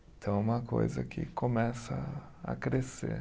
Então é uma coisa que começa a crescer.